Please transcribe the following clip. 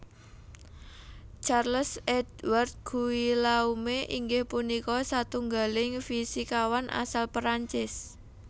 Charles Édouard Guillaume inggih punika satunggaling fisikawan asal Perancis